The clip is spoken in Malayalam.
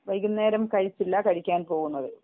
വൈകുന്നേരം കഴിച്ചില്ല കഴിക്കാൻ പോകുന്നതേയുള്ളു